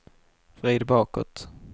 vrid bakåt